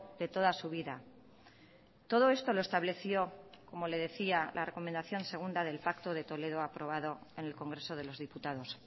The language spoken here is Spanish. de toda su vida todo esto lo estableció como le decía la recomendación segunda del pacto de toledo aprobado en el congreso de los diputados